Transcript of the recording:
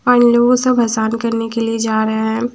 आइ know सब इसान करने जा रहे है।